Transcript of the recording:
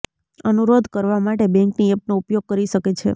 અનુરોધ કરવા માટે બેંકની એપનો ઉપયોગ કરી શકે છે